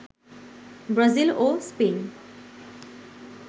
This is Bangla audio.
ব্রাজিল ও স্পেন